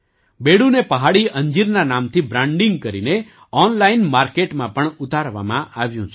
બેડૂને પહાડી અંજીરના નામથી બ્રાન્ડિંગ કરીને ઑનલાઇન માર્કેટમાં પણ ઉતારવામાં આવ્યું છે